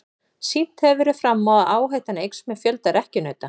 Sýnt hefur verið fram á að áhættan eykst með fjölda rekkjunauta.